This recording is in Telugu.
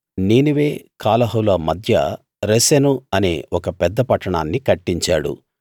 నీనెవె కాలహుల మధ్య రెసెను అనే ఒక పెద్ద పట్టాణాన్నీ కట్టించాడు